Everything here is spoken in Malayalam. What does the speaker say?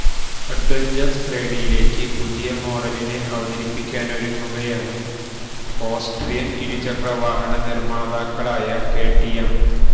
അഡ്വഞ്ചര് ശ്രേണിയിലേക്ക് പുതിയ മോഡലിനെ അവതരിപ്പിക്കാനൊരുങ്ങുകയാണ് ഓസ്ട്രിയന് ഇരുചക്ര വാഹന നിര്മ്മാതാക്കളായ കെടിഎം